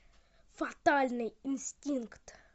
фатальный инстинкт